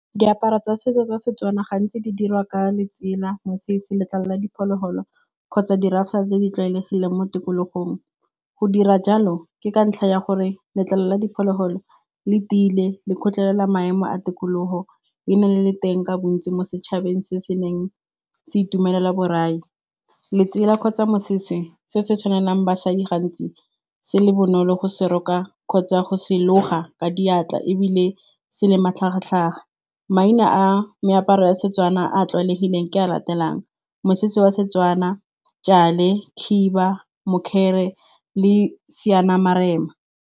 Diaparo tsa setso tsa setswana gantsi di dirwa ka letsela, mosese, letlalo la diphologolo kgotsa di tse di tlwaelegileng mo tikologong. Go dira jalo, ke ka ntlha ya gore letlalo la diphologolo le tiile le kgotlelela maemo a tikologo e na le le teng ka bontsi mo setšhabeng se se neng se itumelela borai. Letsela kgotsa mosese se se tshwanelang basadi gantsi se le bonolo go se roka kgotsa go se loga ka diatla ebile se le matlhagatlhaga. Maina a meaparo ya Setswana a tlwaelegileng ke a latelang, mosese wa Setswana, tšale, khiba mokgele le seanamarena.